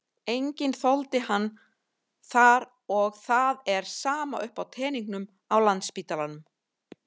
Enginn þoldi hann þar og það er sama uppi á teningnum á Landspítalanum.